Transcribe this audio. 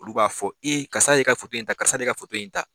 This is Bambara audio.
Olu b'a fɔ e karisa de ye i ka foto in ta karisa de ye i ka foto in ta